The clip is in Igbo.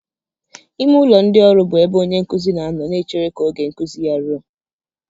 Ime ụlọ ndị ọrụ bụ ebe onye nkuzi na-anọ na-echere ka oge nkuzi ha ruọ.